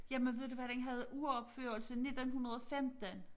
Jamen ved du hvad den havde uropførelse 1915